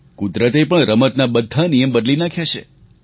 કુદરતે પણ રમતના બધા નિયમ બદલી નાખ્યા છે